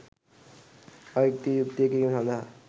අයුක්තිය යුක්තිය කිරීම සඳහා